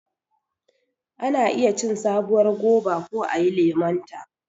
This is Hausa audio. Ana iya cin sabuwar goba ko ayi lemonta.